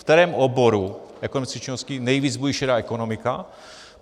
V kterém oboru ekonomické činnosti nejvíc bují šedá ekonomika?